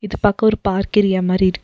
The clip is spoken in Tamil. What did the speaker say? இது பாக்க ஒரு பார்க் ஏரியா மாரி இருக் --